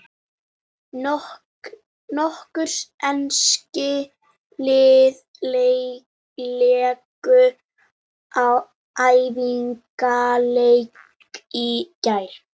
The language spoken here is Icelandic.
Nokkur ensk lið léku æfingaleiki í gær.